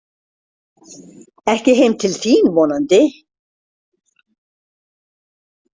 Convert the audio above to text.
Ekki heim til þín vonandi.